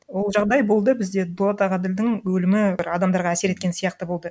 ол жағдай болды бізде дулат ағаділдің өлімі бір адамдарға әсер еткен сияқты болды